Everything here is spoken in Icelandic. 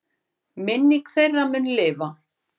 Minning þeirra mun lifa.